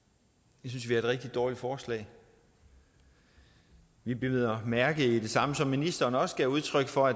synes vi er et rigtig dårligt forslag vi bider mærke i det samme som ministeren også gav udtryk for